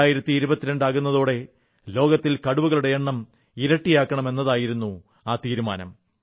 2022 ആകുന്നതോടെ ലോകത്തിൽ കടുവകളുടെ എണ്ണം ഇരട്ടിയാക്കണം എന്നതായിരുന്നു നിശ്ചയം